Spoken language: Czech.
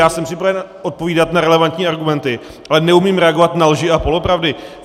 Já jsem připraven odpovídat na relevantní argumenty, ale neumím reagovat na lži a polopravdy.